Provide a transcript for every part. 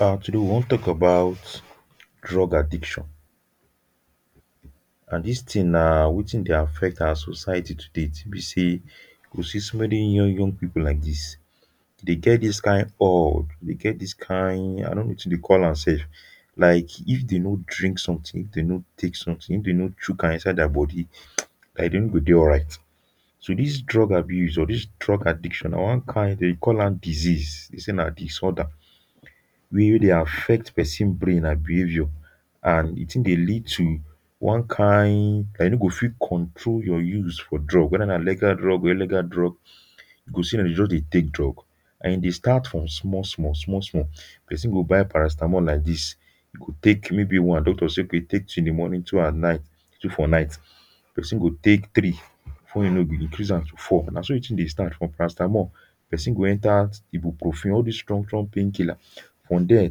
Now today we wan talk about drug addiction and this thing nah wetin deh affect our society today till be say you go see so many young young people like this deh get this kind urge deh get this kind i no know wetin them call am sef like if them no drink something them no take something if them no chook am inside their body um like them no go deh alright so this drug abuse or this drug addiction nah one kind them deh call am disease they say nah disorder weh deh affect person brain and behaviour and the thing deh lead to one kind and you no go fit control your use for drug whether nah legal drug or illegal drug you go see them go just deh take drug and e deh start from small small small small person go buy paracetamol like this e go take okay maybe one doctor say okay take two in the morning two at night two for night person go take three before you know e go increase am to four nah so the thing deh start from paracetamol person go enter ibuprofen all these strong strong pain killer from there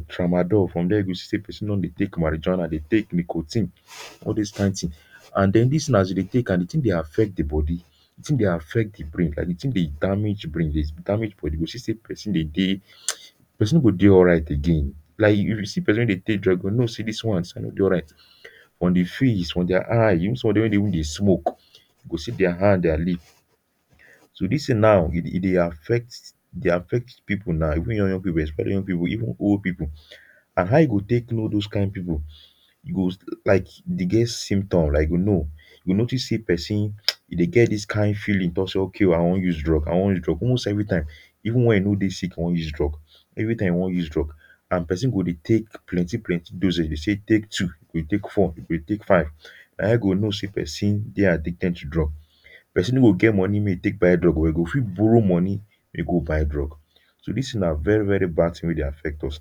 tramadol from there you go see say person don deh take marijuana deh take necotine all those kind things and then this thing as e deh take am the thing deh affect the body the thing deh affect the brain and the thing deh damage brain e deh damage the body you go see say person deh deh um person no go deh alright again like if you see person weh deh take drugs you go know say these ones them no deh alright on de face on their eyes even some of them weh deh even deh smoke you go see their hand their lip so this thing now e deh affect e deh affect people nah even young young people especially young people even old people and how you go take know those kind people you go like they get symptom like you go know if you notice say person um e deh get this kind feeling talk say okay o i wan use drug i wan use drug almost everytime even weh e no deh sick e wan use drug everytime e wan use drug and person go deh take plenty plenty dosage if they say take two e deh take four e dey take five nah in you go know say person deh addicted to drug person no go get money make e take buy drug o but e go fit borrow money make e go buy drug so this thing nah very very bad thing weh deh affect us.